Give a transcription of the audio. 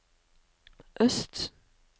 øst